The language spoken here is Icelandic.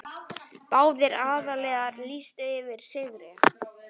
Báðir aðilar lýstu yfir sigri.